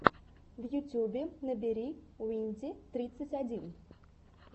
в ютюбе набери уинди тридцать один